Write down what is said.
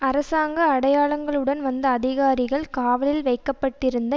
அரசாங்க அடையாளங்களுடன் வந்த அதிகாரிகள் காவலில் வைக்க பட்டிருந்த